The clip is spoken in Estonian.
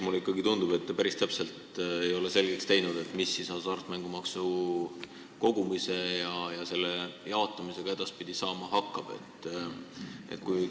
Mulle ikkagi tundub, et te ei ole endale päris täpselt selgeks teinud, mis hasartmängumaksu kogumise ja jaotamisega edaspidi saama hakkab.